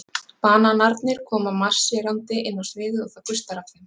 Bananarnir koma marserndi inn á sviðið og það gustar af þeim.